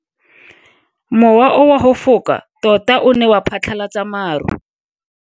Mowa o wa go foka tota o ne wa phatlalatsa maru.